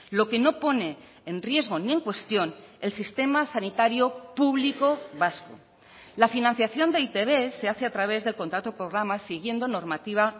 lo que no pone en riesgo ni en cuestión el sistema sanitario público vasco la financiación de e i te be se hace a través del contrato programa siguiendo normativa